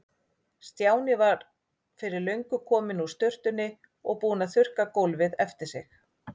Stjáni var fyrir löngu kominn úr sturtunni og búinn að þurrka gólfið eftir sig.